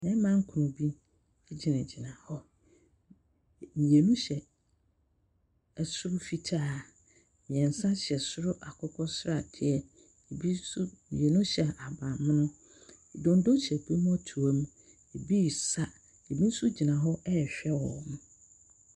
Mmɛrima nkron bi egyina gyina hɔ. Mmienu hyɛ ɛsoro fitaa. Mmiensa hyɛ soro akokɔsradeɛ. Mmienu hyɛ ahabanmono. Dondo hyɛ ebi amɔtuom. Ebi sa, ebi nso gyina hɔ ɛhwɛ wɔn.